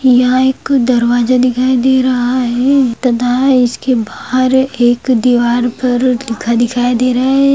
यहाँ एक दरबाजा दिखाई दे रहा है तथा इसके बाहर एक दीवार पर लिखा दिखाई दे रहा है।